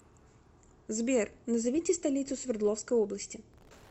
сбер назовите столицу свердловской области